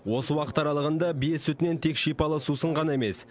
осы уақыт аралығында бие сүтінен тек шипалы сусын ғана емес